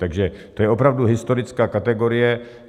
Takže to je opravdu historická kategorie.